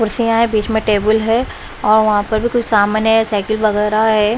कुर्सियां है बीच में टेबुल है और वहां पर भी कुछ सामान है साइकिल वगैरह है।